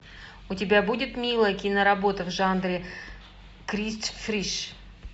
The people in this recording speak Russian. у тебя будет милая киноработа в жанре крист фриш